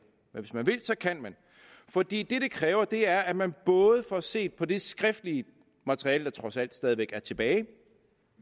men hvis man vil kan man for det det kræver er at man både får set på det skriftlige materiale der trods alt stadigvæk er tilbage